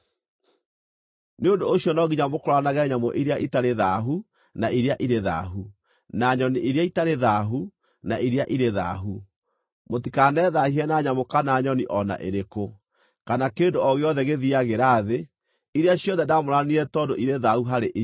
“ ‘Nĩ ũndũ ũcio no nginya mũkũũranage nyamũ iria itarĩ thaahu na iria irĩ thaahu, na nyoni iria itarĩ thaahu na iria irĩ thaahu. Mũtikanethaahie na nyamũ kana nyoni o na ĩrĩkũ, kana kĩndũ o gĩothe gĩthiiagĩra thĩ, iria ciothe ndaamũranirie tondũ irĩ thaahu harĩ inyuĩ.